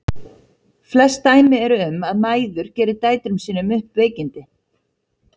Flest dæmi eru um að mæður geri dætrum sínum upp veikindi.